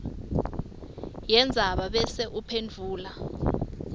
yendzaba bese uphendvula